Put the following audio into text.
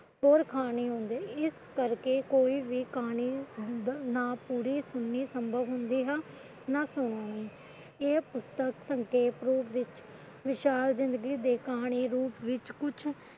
ਹੋਰ ਕਹਾਣੀ ਹੁੰਦੀ ਹੈ ਇਸ ਕਰਕੇ ਕੋਈ ਵੀ ਕਹਾਣੀ ਨਾ ਪੂਰੀ ਸੁਣਣੀ ਸੰਭਵ ਹੁੰਦੀ ਹੈ ਨਾ ਸੁਣਾਣੀ ਇਹ ਪੁਸਤਕ ਸੰਖੇਪ ਰੂਪ ਵਿੱਚ ਵਿਸ਼ਾਲ ਜਿੰਦਗੀ ਦੀ ਕਹਾਣੀ ਕੁਛ